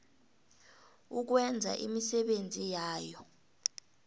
ukwenza imisebenzi yayo